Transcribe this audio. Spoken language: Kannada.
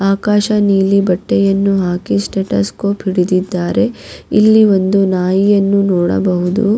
ಮೊನ್ನೆ ನಮ್ ನಾಯಿಗೆ ಹುಷಾರ್ ಇರ್ಲಿಲ್ಲ ಡಾಗಿ--